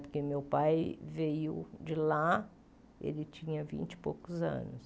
Porque meu pai veio de lá, ele tinha vinte e poucos anos.